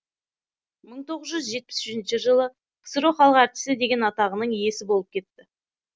мың тоғыз жүз жетпіс үшінші жылы ксро халық әртісі деген атағының иесі болып кетті